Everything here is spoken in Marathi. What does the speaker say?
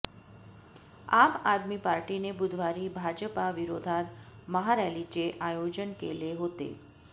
आम आदमी पार्टीने बुधवारी भाजपा विरोधात महारॅलीचे आयोजन केले होते